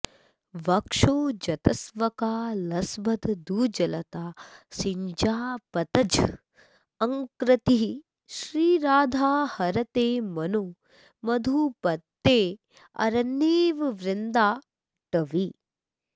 वक्षोजस्तवका लसद्भुजलता शिञ्जापतज्झङ्कृतिः श्रीराधा हरते मनो मधुपतेरन्येव वृन्दाटवी